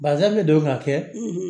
Basa bɛ don ka kɛ